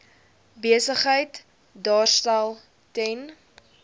besigheid daarstel ten